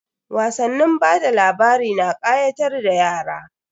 Wasannin bada labari na kayatar da yara.